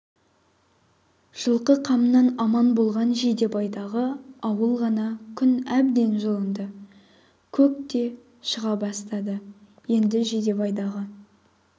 жылқы қамынан аман болған жидебейдағы ауыл ғана күн әбден жылынды көк те шыға бастады енді жидебайдағы